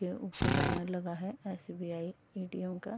के ऊपर बैनर लगा है एस.बी.आई ए.टी.एम. का।